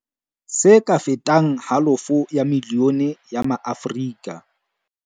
Se ka fetang halofo ya milione ya maAfrika